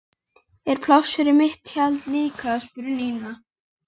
Er pláss fyrir mitt tjald líka? spurði Nína.